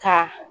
Ka